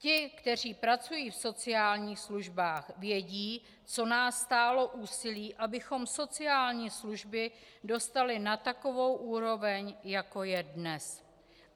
Ti, kteří pracují v sociálních službách, vědí, co nás stálo úsilí, abychom sociální služby dostali na takovou úroveň, jako je dnes.